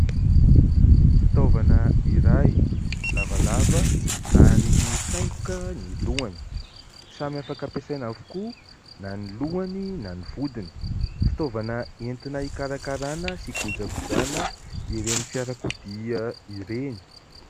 Fitaovana iray lavalava ary mifaingoka ny lohany. Samy afaka ampiasaina avokoa na ny lohany na ny vodiny. Fitaovana entina hikarakarana sy hikojakojana ireny fiarakodia ireny.